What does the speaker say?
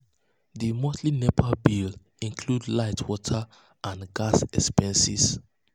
di monthly nepa bills dey um include light water and um gas um expenses.